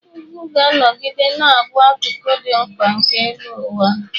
Ugwu ga-anọgide na-abụ akụkụ dị mkpa nke elu ụwa.